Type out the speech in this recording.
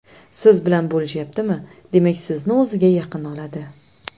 Siz bilan bo‘lishyaptimi, demak sizni o‘ziga yaqin oladi.